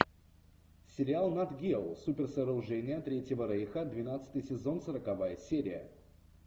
сериал натгео суперсооружения третьего рейха двенадцатый сезон сороковая серия